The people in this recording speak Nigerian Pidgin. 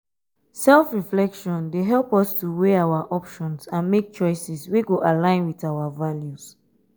self-reflection dey help us to weigh our options and make choices wey go align with our values.